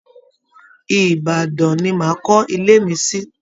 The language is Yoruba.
Ìbaàdàn ni màá kọ́ ilé mi sí